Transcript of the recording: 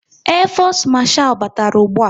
Air fosu marchal batara ụgbụa